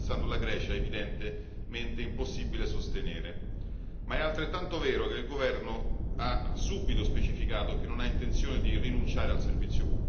Ma è altrettanto vero che il governo ha subito specificato che non ha intenzione di rinunciare al servizio pubblico e che si vuole fare una televisione migliore in qualità e in efficienza.